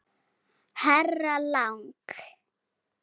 Herra Lang.